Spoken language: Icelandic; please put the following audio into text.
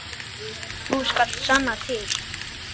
Þú skalt sanna til.